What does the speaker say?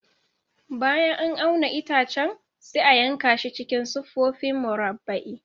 Bayan an auna itacen, sai a yanka shi cikin siffofi murabba'i.